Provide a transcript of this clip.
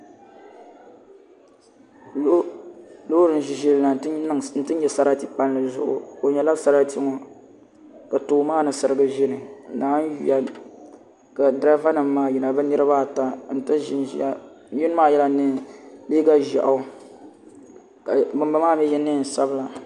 Loori n ʒi ʒili na n ti nyɛ sarati palli zuɣu o nyɛla sarati ŋɔ ka tooni maa ni sirigi ʒili naawuni yuya ka diraiva nim maa yina bi niraba ata n ti ʒinʒiya yino maa yɛla liiga ʒiɛɣu ka bin bala maa mii yɛ neen sabila